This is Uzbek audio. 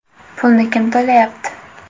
Pulni kim to‘layapti?